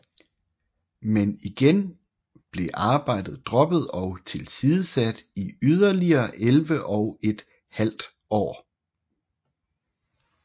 Men igen blev arbejdet droppet og tilsidesat i yderligere elleve og et halvt år